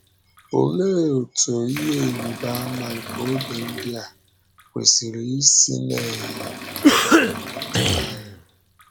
Olee otú “ ihe ịrịba ama nke oge ndị a ” kwesịrị isi na - um emetụta anyị?